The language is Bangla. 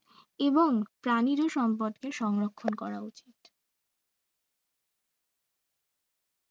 এবং প্রাণিরও সম্পদকে সংরক্ষণ করা উচিত